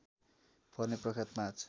पर्ने प्रख्यात पाँच